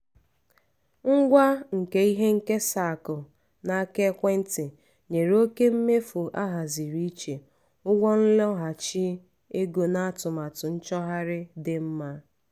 ngwa nke ihe nkesa akụ n’aka ekwentị nyere oke mmefu ahaziri iche ụgwọ nloghachi ego na atụmatụ nchọgharị dị mma.